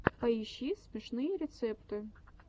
поищи смешные рецепты